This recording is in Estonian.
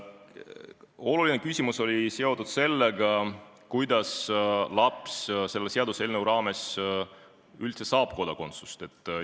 Oluline küsimus oli seotud sellega, kuidas laps selle seaduseelnõu arusaama kohaselt ikkagi Eesti kodakondsuse saab.